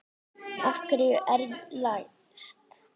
Af hverju er læst?